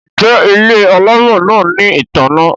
Njé Ile alamò náa ní ìtanná?